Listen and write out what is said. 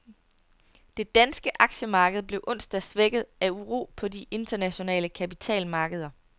Det danske aktiemarked blev onsdag svækket af uro på de internationale kapitalmarkeder.